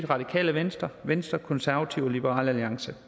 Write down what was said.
radikale venstre venstre konservative og liberal alliance